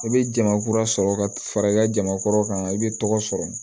I bɛ jama kura sɔrɔ ka fara i ka jama kɔrɔ kan i bɛ tɔgɔ sɔrɔ